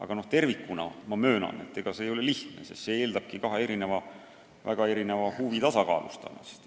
Aga kokku võttes ma möönan, et see ei ole lihtne, sest see eeldab kahe väga erineva huvi tasakaalustamist.